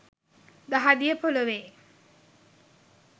දහදිය ‍පොළොවේ